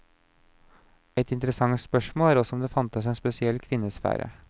Et interessant spørsmål er også om det fantes en spesiell kvinnesfære.